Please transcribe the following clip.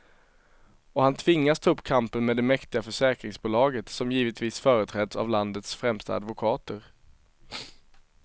Och han tvingas ta upp kampen med det mäktiga försäkringsbolaget, som givetvis företräds av landets främsta advokater.